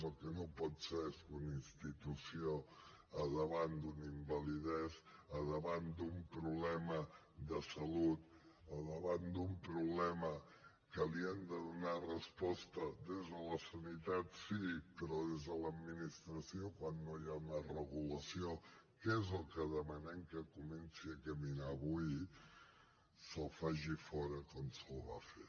el que no pot ser és que una institució davant d’una invalidesa davant d’un problema de salut davant d’un problema que li hem de donar resposta des de la sanitat sí però des de l’administració quan no hi ha més regulació que és el que demanem que comenci a caminar avui se’l faci fora com se’l va fer